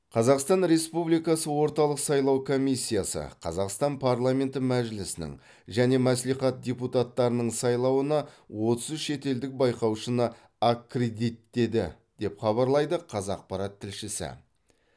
қазақстан республикасы орталық сайлау комиссиясы қазақстан парламенті мәжілісінің және мәслихат депутаттарының сайлауына отыз үш шетелдік байқаушыны аккредиттеді деп хабарлайды қазақпарат тілшісі